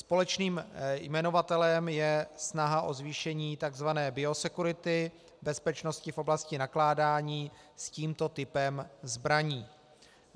Společným jmenovatelem je snaha o zvýšení tzv. biosecurity, bezpečnosti v oblasti nakládání s tímto typem zbraní.